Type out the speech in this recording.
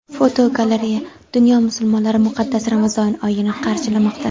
Fotogalereya: Dunyo musulmonlari muqaddas Ramazon oyini qarshilamoqda.